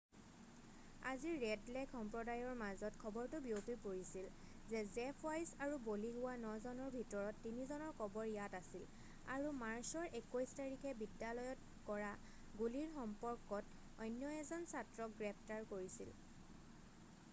আজি Red Lake সম্প্ৰদায়ৰ মাজত খবৰটো বিয়পি পৰিছিল যে জেফ ৱাইছ আৰু বলি হোৱা নজনৰ ভিতৰত 3জনৰ কবৰ ইয়াত আছিল আৰু মাৰ্চৰ 21 তাৰিখে বিদ্যালয়ত কৰা গুলিৰ সম্পৰ্কত অন্য এজন ছাত্ৰক গ্ৰেপ্তাৰ কৰিছিল